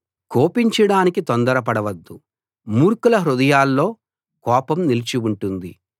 కోపించడానికి తొందరపడవద్దు మూర్ఖుల హృదయాల్లో కోపం నిలిచి ఉంటుంది